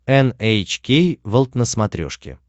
эн эйч кей волд на смотрешке